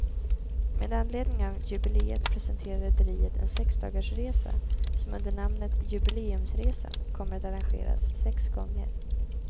Med anledning av jubileet presenterar rederiet en sexdagarsresa som under namnet jubileumsresan kommer att arrangeras sex gånger.